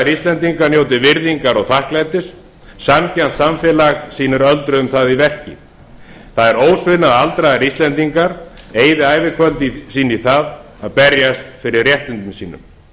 íslendingar njóti virðingar og þakklætis sanngjarnt samfélag sýnir öldruðum það í verki það er ósvinna að aldraðir íslendingar eyði ævikvöldi sínu í það að berjast fyrir réttindum sínum